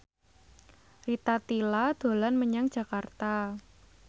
Rita Tila dolan menyang Jakarta